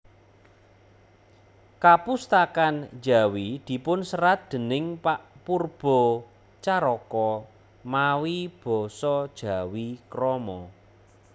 Kapustakan Djawi dipunserat déning pak Poerbatjaraka mawi basa Jawi krama